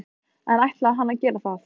En ætlaði hann að gera það?